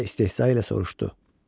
Və istehza ilə soruşdu: